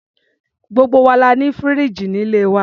Gbogbo wa la ní fìríìjì ní ilé wa.